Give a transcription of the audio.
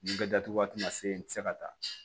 Nin bɛɛ datugu waati ma se n tɛ se ka taa